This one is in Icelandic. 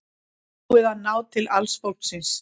Búið að ná til alls fólksins